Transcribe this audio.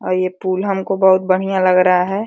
और ये पूल हमको बहुत बहियाँ लग रहा है।